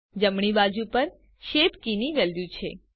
જમણી બાજુ પર શેપ કીની વેલ્યુ છે